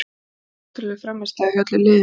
Þetta var ótrúleg frammistaða hjá öllu liðinu.